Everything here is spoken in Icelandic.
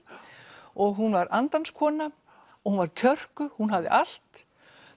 og hún var andans kona hún var kjörkuð hún hafði allt